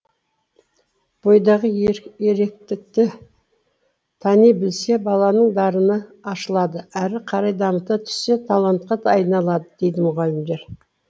бойдағы еректікті тани білсе баланың дарыны ашылады әрі қарай дамыта түссе талантқа да айналады дейді мұғалімдер